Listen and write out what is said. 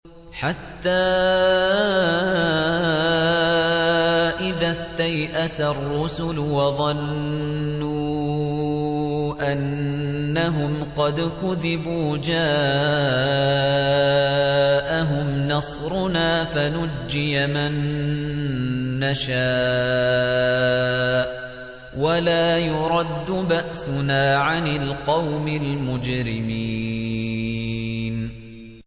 حَتَّىٰ إِذَا اسْتَيْأَسَ الرُّسُلُ وَظَنُّوا أَنَّهُمْ قَدْ كُذِبُوا جَاءَهُمْ نَصْرُنَا فَنُجِّيَ مَن نَّشَاءُ ۖ وَلَا يُرَدُّ بَأْسُنَا عَنِ الْقَوْمِ الْمُجْرِمِينَ